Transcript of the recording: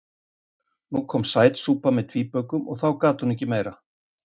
Nú kom sætsúpa með tvíbökum og þá gat hún ekki meira.